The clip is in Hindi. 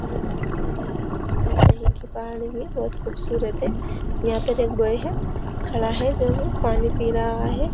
यह कहीं की पहाड़ी है। बहोत खुबसूरत है। यहाँ पर एक बॉय है। खड़ा है जो ये पानी पी रहा है।